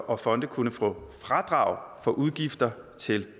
og fonde kunne få fradrag for udgifter til